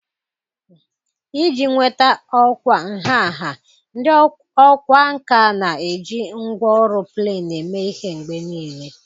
Iji nweta ọkwa nha nha, ndị ọkwá nkà na-eji ngwá ọrụ plen eme ihe mgbe nile